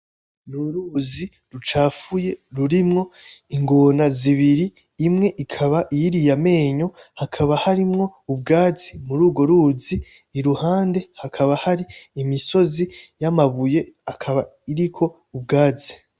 N’uruzi rucafuye rurimwo ingona zibiri imwe ikaba iyiriye amenyo hakaba harimwo ubwatsi muri urwo ruzi iruhande hakaba hari imisozi y’amabuye akaba iriko ubwatsi.